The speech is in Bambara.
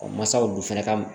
O mansaw dun fɛnɛ ka